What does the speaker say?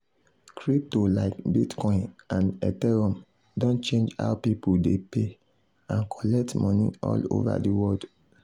crypto like bitcoin and ethereum don change how people dey pay and collect money all over the world.